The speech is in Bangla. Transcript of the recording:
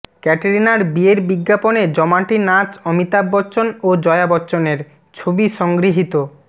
ক্যাটরিনার বিয়ের বিজ্ঞাপনে জমাটি নাচ অমিতাভ বচ্চন ও জয়া বচ্চনের ছবি সংগৃহীত